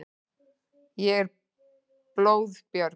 Ég er blóðbjörg.